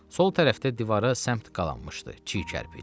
Sol tərəfdə divara səmt qalanmışdı çiy kərpic.